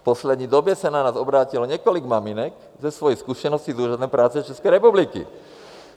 V poslední době se na nás obrátilo několik maminek se svojí zkušeností s Úřadem práce České republiky.